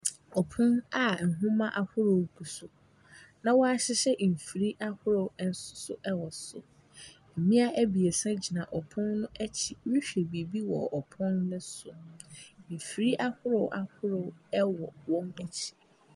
Ɔpon a nhoma ahorow gu so na wahyehyɛ mfiri ahorow ɛnsoso ɛwɔ so. Mmea abiesa gyina ɔpon no akyi rehwɛ biibi wɔ ɔpon no so. Mfiri ahorow ahorow ɛwɔ wɔn akyi.